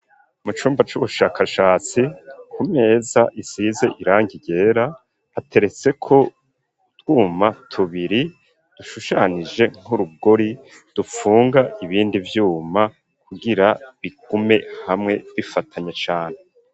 Mu cumba c'ubushakashatsi ku meza isize irangi ryera hateretse ko utwuma tubiri dushushanije nk'urugori dufunga ibindi vyuma kugira bigume hamwe bifatanye cane.